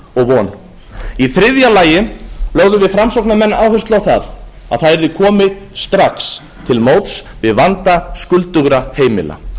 og von í þriðja lagi lögðum við framsóknarmenn áherslu á það að það yrði komið strax til móts við vanda skuldugra heimila